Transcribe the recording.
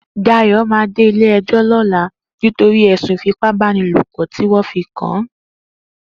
Dayo mà dé ilé ẹjọ lọ̀lá nitọri ẹ̀sún ìfípábànilópọ̀ tiwọn fi kàán